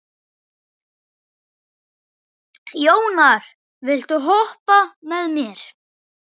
Jónar, viltu hoppa með mér?